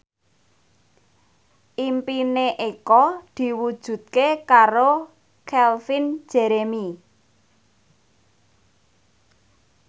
impine Eko diwujudke karo Calvin Jeremy